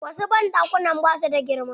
Wasu banɗakunan ba su da girma.